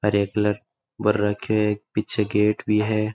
हरे कलर पर रखे पीछे गेट भी है।